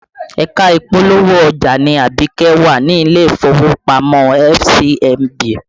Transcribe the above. Ẹ̀ka ìpolówó ọjà ni Abike wà ní ilé ìfowópamọ́ FCMB